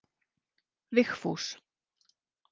Vigfús